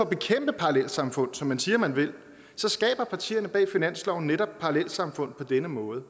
bekæmpe parallelsamfund som man siger man vil skaber partierne bag finansloven netop parallelsamfund på denne måde og